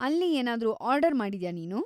ಅಲ್ಲಿ ಏನಾದ್ರು ಆರ್ಡರ್‌ ಮಾಡಿದ್ಯಾ ನೀನು?